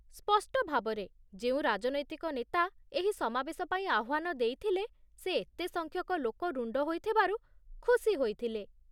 ସ୍ପଷ୍ଟଭାବରେ, ଯେଉଁ ରାଜନୈତିକ ନେତା ଏହି ସମାବେଶ ପାଇଁ ଆହ୍ଵାନ ଦେଇଥିଲେ, ସେ ଏତେ ସଂଖ୍ୟକ ଲୋକ ରୁଣ୍ଡ ହୋଇଥିବାରୁ ଖୁସି ହୋଇଥିଲେ